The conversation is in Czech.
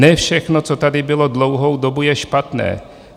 Ne všechno, co tady bylo dlouhou dobu, je špatné.